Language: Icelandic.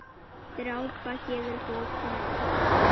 Drápa gefur bókina út.